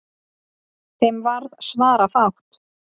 Þeim varð svarafátt.